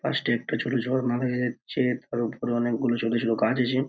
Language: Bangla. ফার্স্টে একটা ছোট ঝর্ণা হয়ে যাচ্ছে | তার ওপরে অনেকগুলো ছোট ছোট গাছ আছে |